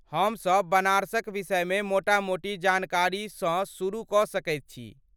हमसब बनारसक विषयमे मोटा मोटी जानकारीसँ शुरु कऽ सकैत छी।